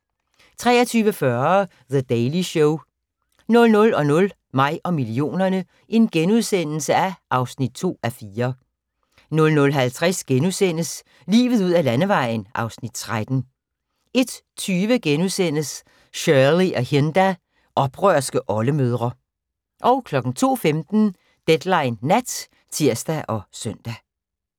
23:40: The Daily Show 00:00: Mig og millionerne (2:4)* 00:50: Livet ud ad Landevejen (Afs. 13)* 01:20: Shirley og Hinda – oprørske oldemødre * 02:15: Deadline Nat (tir og søn)